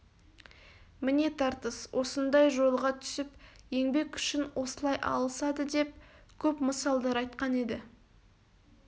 міне тартыс осындай жолға түсіп еңбек үшін осылай алысады деп көп мысалдар айтқан еді